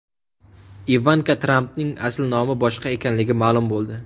Ivanka Trampning asl nomi boshqa ekanligi ma’lum bo‘ldi.